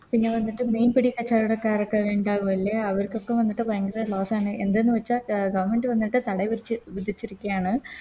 പിന്നെ വന്നിട്ട് മീൻ പിടി കച്ചോടക്കാരൊക്കെ ഇണ്ടാവു അല്ലെ അവർക്കൊക്കെ വന്നിട്ട് ഭയങ്കര Loss ആണ് എന്ത് ന്ന് വെച്ചാൽ Governmnt വന്നിട്ട് തട വിരിച്ച് വിതച്ചിരിക്കാണ്